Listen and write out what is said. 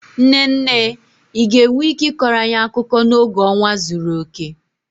Nne nne, ị ga-enwe ike ịkọrọ anyị akụkọ n'oge ọnwa zuru oke?